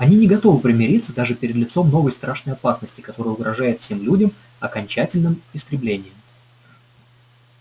они не готовы примириться даже перед лицом новой страшной опасности которая угрожает всем людям окончательным истреблением